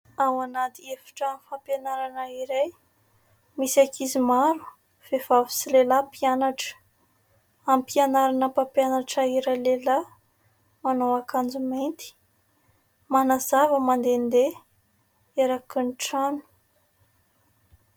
ao anaty efitrano fampianarana iray, misy ankizy maro vehivavy sy lehilahy mpianatra, ampianarana mpampianatra iray lehilahy ,manao ankanjo mainty, manazava mandehandeha eraky ny trano